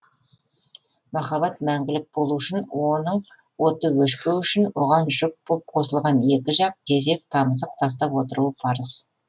махаббат мәңгілік болуы үшін оның оты өшпеуі үшін оған жұп боп қосылған екі жақ кезек тамызық тастап отыруы парыз